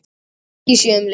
Engin merki séu um leka